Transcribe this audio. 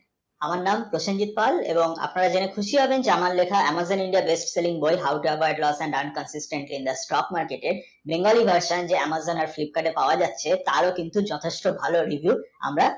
Amazon, Technify এবং আপনারা জেনে খুশি হবেন আমার লেখা Amazon, India, bestselling বই house, of, rewards, and, diamonds, subscription, in, the, stock, market এর bengali, version যে Amazon আর Flipkart এ পাওয়া যাচ্ছে তার ও কিন্তু যথেষ্ট ভাল reviews